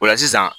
O la sisan